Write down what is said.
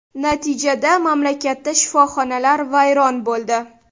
Natijada mamlakatda shifoxonalar vayron bo‘ldi.